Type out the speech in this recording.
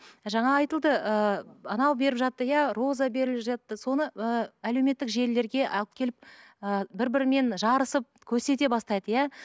жаңа айтылды ыыы анау беріп жатты иә роза беріліп жатты соны ы әлеуметтік желілерге алып келіп ы бірі бірімен жарысып көрсете бастайды иә